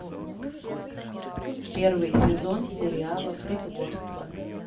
первый сезон сериала притворство